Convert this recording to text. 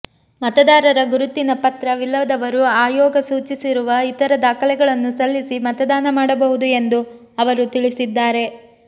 ಮತದಾರರ ಗುರುತಿನ ಪತ್ರ ವಿಲ್ಲದವರು ಆಯೋಗ ಸೂಚಿಸಿರುವ ಇತರ ದಾಖಲೆಗಳನ್ನು ಸಲ್ಲಿಸಿ ಮತದಾನ ಮಾಡಬಹುದು ಎಂದು ಅವರು ತಿಳಿಸಿದ್ದಾರೆ